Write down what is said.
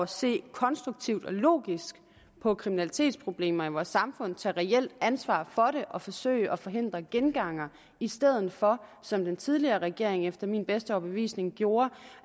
se konstruktivt og logisk på kriminalitetsproblemer i vores samfund tager reelt ansvar for det og forsøger at forhindre gengangere i stedet for som den tidligere regering efter min bedste overbevisning gjorde